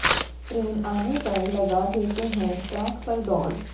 train आने पर लगा देते हैं ट्रैक पर दौड़